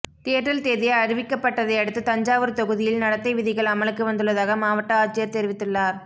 தேர்தல் தேதி அறிவிக்கப்பட்டதை அடுத்து தஞ்சாவூர் தொகுதியில் நடத்தை விதிகள் அமலுக்கு வந்துள்ளதாக மாவட்ட ஆட்சியர் தெரிவித்துள்ளார்